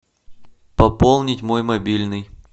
пополнить мой мобильный